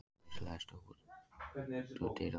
Bresi, læstu útidyrunum.